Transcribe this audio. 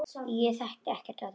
Ég þekki ekkert af þessu.